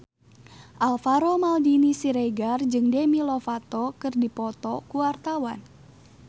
Alvaro Maldini Siregar jeung Demi Lovato keur dipoto ku wartawan